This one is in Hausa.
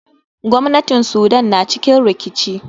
Gwamnatin sudan na cikin rikici.